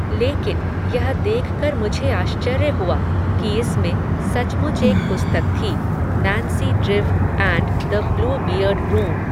लेकिन, यह देख कर मुझे आश्चर्य हुआ, कि इसमें, सचमुच एक पुस्तक थी, Nancy Drew and the Bluebeard room